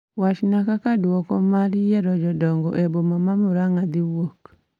Wachna kaka duoko ma yiero jodongo e boma ma Muranga dhiwuok